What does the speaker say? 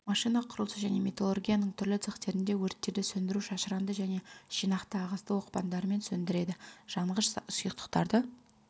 машина құрылысы және металлургияның түрлі цехтерінде өрттерді сөндіру шашыранды және жинақты ағысты оқпандарымен сөндіреді жанғыш сұйықтықтарды